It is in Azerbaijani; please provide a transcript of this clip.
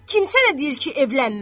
Kim sənə deyir ki evlənmə?